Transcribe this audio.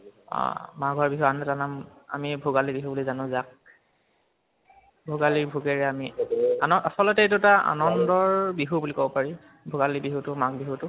অ মাঘৰ বিহুৰ আন এটা নাম আমি ভোগালী বিহু বুলি জানো যাক। ভোগালীৰ ভোগেৰে আমি আনৰ আছলতে এইটো এটা আনান্দৰ বিহু বুলি কব পাৰি ভোগালী বিহুটো মাঘ বিহুটো